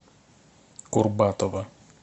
курбатова